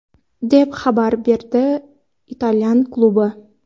deb xabar berdi italyan klubi.